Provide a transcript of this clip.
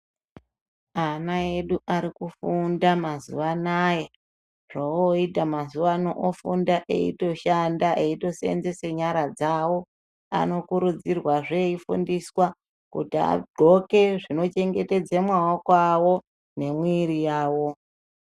Ana edu arikufunda mazuwa anaya .Zvooita mazuwa ano ofunda eitoshanda, eitoseenzese nyara dzawo. Anokurudzirwazve ,eifundiswa kuti agqoke zvinochengetedze maoko awo nemwiri yawo.